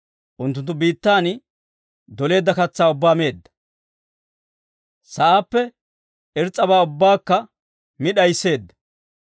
Unttunttu biittan doleedda katsaa ubbaa meedda; sa'aappe irs's'abaa ubbaakka mi d'ayisseedda.